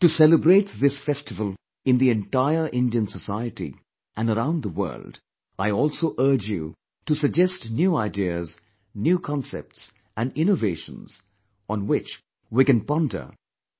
To celebrate this festival in the entire Indian society and around the world I also urge you to suggest new ideas, new concepts, and innovations on which we can ponder